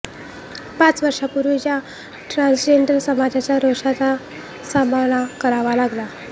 पाच वर्षापूर्वी ज्या ट्रान्सजेंडर समाजाच्या रोषाचा सामना करावा लागला